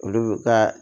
Olu bɛ ka